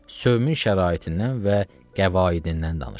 Sövmun şəraitindən və qəvaidindən danışır.